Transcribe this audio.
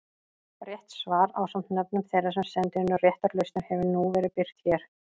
Rétt svar ásamt nöfnum þeirra sem sendu inn réttar lausnir hefur nú verið birt hér.